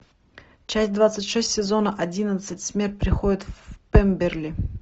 часть двадцать шесть сезона одиннадцать смерть приходит в пемберли